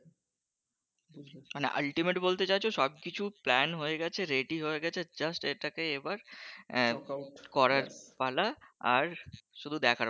আচ্ছা মানে ultimate বলতে চাইছো সবকিছু plan হয়ে গেছে ready হয়ে গেছে just এটাকে এবার আহ করার পালা আর শুধু দেখার